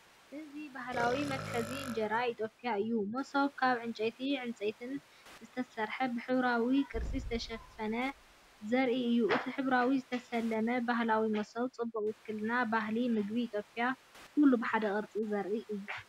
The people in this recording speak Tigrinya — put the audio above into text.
እዚ ባህላዊ መትሓዚ እንጀራ ኢትዮጵያ እዩ፡ “መሶብ”፡ ካብ ዕንጨይትን ዕንጸይትን ዝተሰርሐ፡ ብሕብራዊ ቅርጺ ዝተሸፈነ ዘርኢ እዩ። እቲ ብሕብራዊ ዝተሰለመ ባህላዊ መሶብ ጽቡቕ ውክልና ባህሊ ምግቢ ኢትዮጵያ'ዩ፡ ኩሉ ብሓደ ቅርጺ ዘርኢ እዩ።